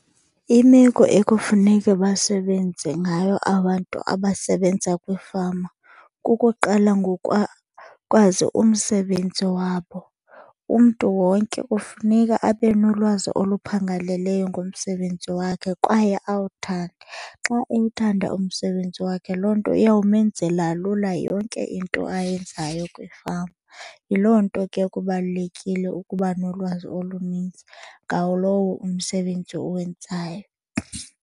Imeko ekufuneke basebenze ngayo abantu abasebenza kwiifama kukuqala ngokwazi umsebenzi wabo. Umntu wonke kufuneka abe nolwazi oluphangaleleyo ngomsebenzi wakhe kwaye awuthande. Xa ewuthanda umsebenzi wakhe loo nto iyawumenzela lula yonke into ayenzayo kwifama. Yiloo nto ke kubalulekile ukuba nolwazi olunintsi ngawo lowo umsebenzi uwenzayo.